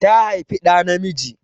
Ta haifi ɗa namiji.